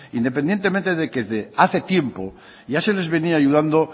independientemente de que hace tiempo ya se les venía ayudando